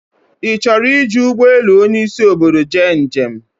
I choro iji Ugbe elu Onyi isi obodo je njem